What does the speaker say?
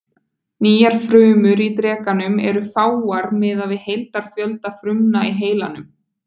Nýjar frumur í drekanum eru fáar miðað við heildarfjölda frumna í heilanum.